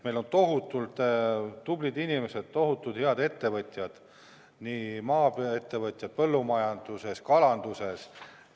Meil on tohutult tublid inimesed, tohutult head ettevõtjad nii põllumajanduses kui ka kalanduses.